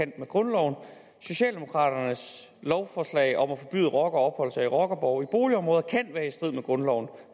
med grundloven socialdemokratiets lovforslag om at forbyde rockere at opholde sig i rockerborge i boligområder kan være i strid med grundloven